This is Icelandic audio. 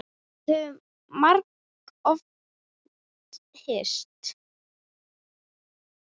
Við höfum margoft hist.